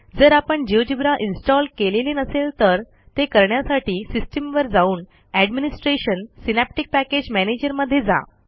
जर आपण GeoGebra install केलेले नसेल तर ते करण्यासाठी सिस्टीम वर जाऊन एडमिनिस्ट्रेशन सिनॅप्टिक पॅकेज मॅनेजर मध्ये जा